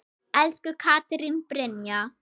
Elsku Katrín Brynja.